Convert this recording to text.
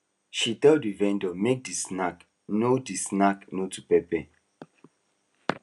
she tell the vendor make the snack no the snack no too pepper